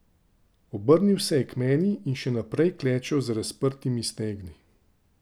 Obrnil se je k meni in še naprej klečal z razprtimi stegni.